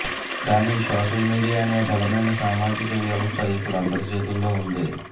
కాని social media అనే బలమైన సామాజిక వ్యవస్థ ఇప్పుడు అందరి చేతుల్లో ఉంది